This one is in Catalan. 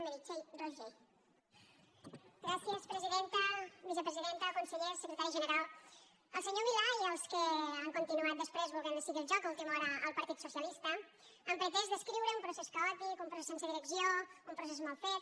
vicepresidenta consellers secretari general el senyor milà i els que han continuat després volent ne seguir el joc a última hora el partit socialista han pretès descriure un procés caòtic un procés sense direcció un procés mal fet